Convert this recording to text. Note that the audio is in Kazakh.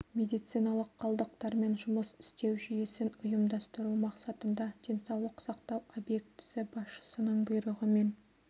медициналық қалдықтармен жұмыс істеу жүйесін ұйымдастыру мақсатында денсаулық сақтау объектісі басшысының бұйрығымен